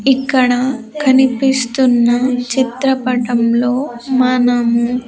ఇక్కడ కనిపిస్తున్న చిత్రపటంలో మనము.